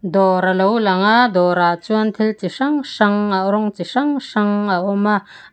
dawr a lo langa dawrah chuan thil chi hrang hrang rawng chi hrang hrang a awm a.